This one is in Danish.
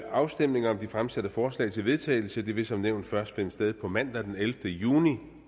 afstemning om de fremsatte forslag til vedtagelse vil som nævnt først finde sted på mandag den ellevte juni